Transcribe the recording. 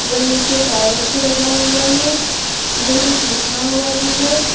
नीचे टाइल्स भी लगा हुआ है इधर कुछ लिखा हुआ भी है।